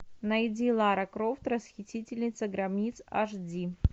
найди лара крофт расхитительница гробниц аш ди